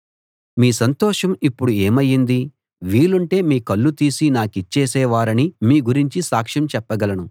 మీ సంతోషం ఇప్పుడు ఏమయింది వీలుంటే మీ కళ్ళు తీసి నాకిచ్చేసే వారని మీ గురించి సాక్ష్యం చెప్పగలను